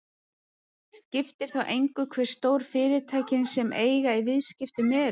Skiptir þá engu hve stór fyrirtækin sem eiga í viðskiptunum eru.